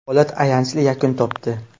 Holat ayanchli yakun topdi .